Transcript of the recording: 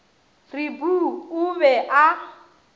re poo o be a